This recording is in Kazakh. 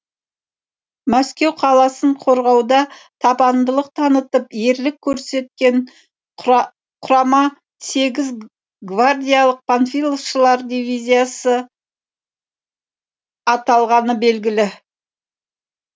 мәскеу қаласын қорғауда табандылық танытып ерлік көрсеткен құрама сегіз гвардиялық панфиловшылар дивизиясы аталғаны белгілі